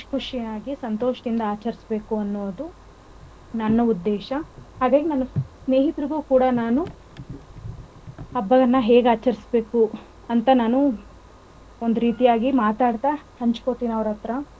ಉದ್ದೇಶ ಹಾಗೆ ನಾನು ಸ್ನೇಹಿತರಿಗೂ ಕೂಡ ನಾನು ಹಬ್ಬವನ್ನ ಹೇಗ್ ಆಚರಸಬೇಕು ಅಂತ ನಾನು ಒಂದರೀತಿಯಾಗಿ ಮಾತಾಡ್ತಾ ಹಂಚಕೋಳ್ತಿನಿ ಅವರತ್ರ.